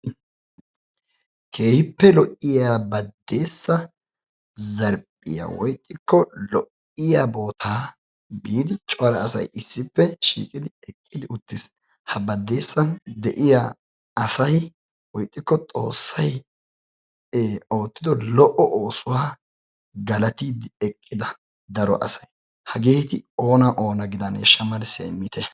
Keehippe lo"iyaa Badeessa zarphphiyaa woy ixxikko lo"iya bootta biidi cora asay issippe shiiqidi Badeessa de'iyaa asay woy ixxikko Xoossay oottido lo"o oosuwa galattide eqqida daro asay hageeti oona oona gidaneshsha malissiyaa immitte.